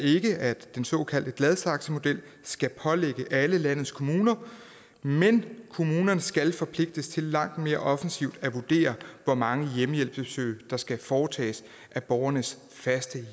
at den såkaldte gladsaxemodel skal pålægges alle landets kommuner men at kommunerne skal forpligtes til langt mere offensivt at vurdere hvor mange hjemmehjælpsbesøg der skal foretages af borgerens faste